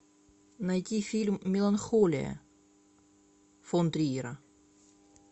найти фильм меланхолия фон триера